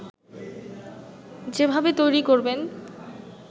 যেভাবে তৈরি করবেন